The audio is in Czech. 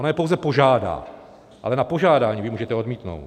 Ono je pouze požádá, ale na požádání vy můžete odmítnout.